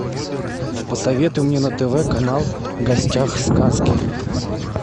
посоветуй мне на тв канал в гостях сказки